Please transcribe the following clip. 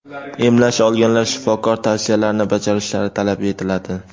emlash olganlar shifokor tavsiyalarini bajarishlari talab etiladi.